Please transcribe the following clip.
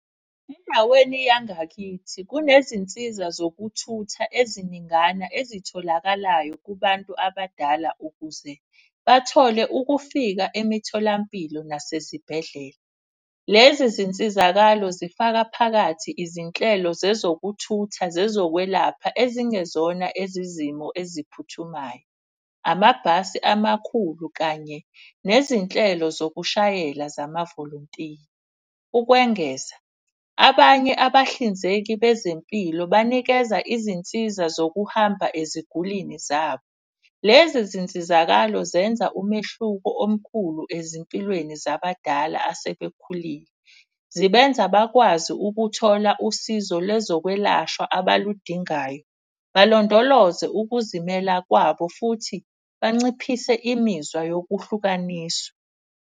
Endaweni yangakithi kunezinsiza zokuthutha eziningana ezitholakalayo kubantu abadala ukuze bathole ukufika emitholampilo nasezibhedlela. Lezi zinsizakalo zifaka phakathi izinhlelo zezokuthutha, zezokwelapha ezingezona ezezimo eziphuthumayo. Amabhasi amakhulu kanye nezinhlelo zokushayela zama-volontiya. Ukwengeza abanye abahlinzeki bezempilo banikeza izinsiza zokuhamba ezigulini zabo. Lezi zinsizakalo zenza umehluko omkhulu ezimpilweni zabadala asebekhulile, zibenza bakwazi ukuthola usizo lwezokwelashwa abaludingayo. Balondoloze ukuzimela kwabo futhi banciphise imizwa yokuhlukaniswa.